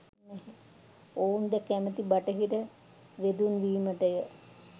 ඔවුන්ද කැමති බටහිර වෙදුන් වීමටය.